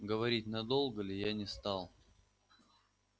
говорить надолго ли я не стал